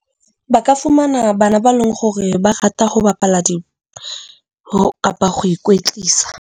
Ba ka fumana bana ba leng hore ba rata ho bapala kapa go ikwetlisa.